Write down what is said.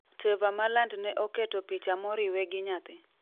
Tevor Malland ne oketo picha moriwe gi nyathi